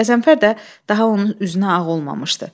Qəzənfər də daha onun üzünə ağ olmamışdı.